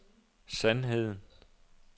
sandheden